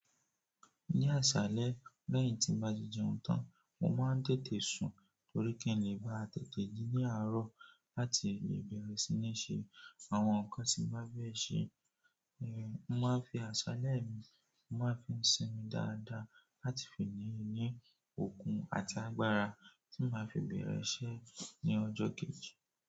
Ní àṣálẹ́ lẹ́yìn tí bá ti jẹun tán, mo máa ń tètè sùn torí kí n lè bá tètè jí ní àárọ̀ láti lè bẹ̀rẹ̀ sí ní ṣe àwọn nǹkan tí n ba fẹ ṣe. Mo máa fi àṣálẹ́ mi, mo máa fi ń sinmi dáadáa láti fi le ní okun àti agbára tí màá fi bẹ̀rẹ̀ iṣẹ́ ní ọjọ́ kejì.